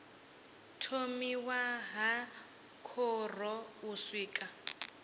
thomiwa ha khoro u swika